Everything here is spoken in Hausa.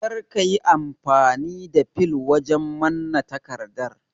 Kar ka yi amfani da fil wajen manna takardar